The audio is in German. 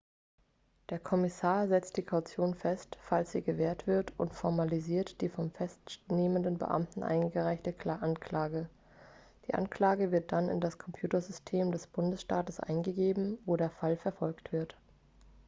der kommissar setzt die kaution fest falls sie gewährt wird und formalisiert die vom festnehmenden beamten eingereichte anklage die anklage wird dann in das computersystem des bundesstaates eingegeben wo der fall verfolgt wird